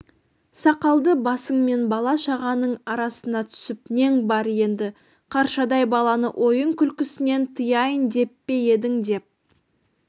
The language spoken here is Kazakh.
сақалды басыңмен бала-шағаның арасына түсіп нең бар енді қаршадай баланы ойын-күлкісінен тыяйын деп пе едің деп